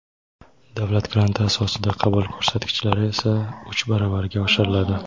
davlat granti asosida qabul ko‘rsatkichlari esa uch baravarga oshiriladi.